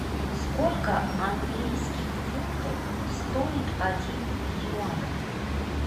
сколько английских фунтов стоит один юань